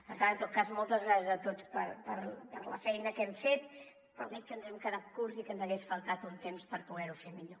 per tant en tot cas moltes gràcies a tots per la feina que hem fet però crec que ens hem quedat curts i que ens hagués faltat un temps per poder ho fer millor